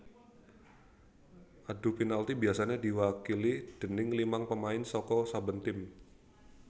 Adu penalti biasané diwakili déning limang pemain saka saben tim